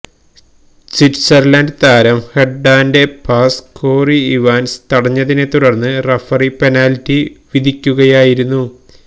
Switzerland താരം ഹെര്ഡാന്റെ pass Corey Evans തടഞ്ഞതിനെ തുടര്ന്ന് റഫറി പെനാല്റ്റി വിധിക്കുകയായിരുന്നു